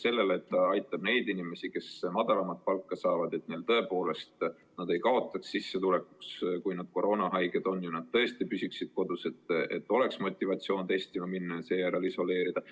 See aitab neid inimesi, kes saavad väiksemat palka, et nad ei kaotaks sissetulekus, kui nad koroonasse haigestuvad, ja et nad tõesti püsiksid kodus ning et neil oleks motivatsiooni testima minna ja end vajaduse korral isoleerida.